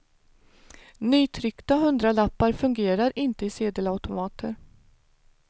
Nytryckta hundralappar fungerar inte i sedelautomater.